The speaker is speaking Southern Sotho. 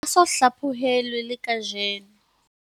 Ha a so hlaphohelwe le kajeno.